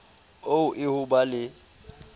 oo e ho ba le